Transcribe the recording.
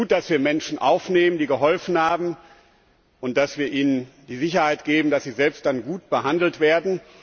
Es ist gut, dass wir Menschen aufnehmen, die geholfen haben, und dass wir ihnen die Sicherheit geben, dass sie selbst dann gut behandelt werden.